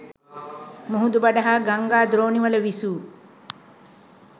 මුහුදුබඩ හා ගංගා දෝණිවල විසූ